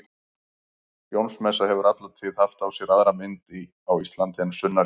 Jónsmessa hefur alla tíð haft á sér aðra mynd á Íslandi en sunnar í Evrópu.